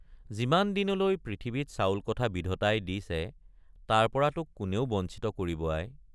যিমান দিনলৈ পৃথিৱীত চাউলকঠা বিধতাই দিছে তাৰপৰা তোক কোনেও বঞ্চিত কৰিব আই!